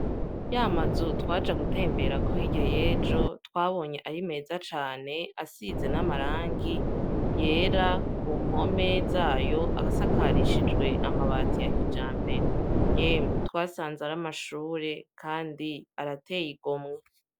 Ya mazu twaja gutemberako hirya y'ejo twabonye ari meza cane, asize n' amarangi yera ku mpome zayo ,asakarishijwe amabati ya kijambere yemwe twasanze ari amashure kandi arateye igomwe.